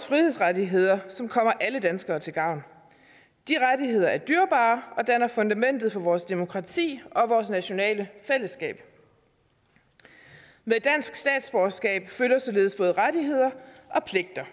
frihedsrettigheder som kommer alle danskere til gavn de rettigheder er dyrebare og danner fundamentet for vores demokrati og vores nationale fællesskab med dansk statsborgerskab følger således både rettigheder og pligter